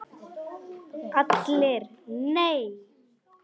ALLIR: Nei!